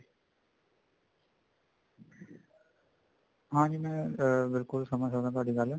ਹਾਂਜੀ ਮੈਂ ਬਿਲਕੁਲ ਸਮਝ ਸਕਦਾ ਤੁਹਾਡੀ ਗੱਲ